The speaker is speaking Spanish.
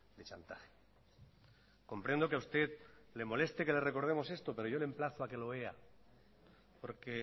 de chantaje comprendo que a usted le moleste que le recordemos esto pero yo le emplazo a que lo vea porque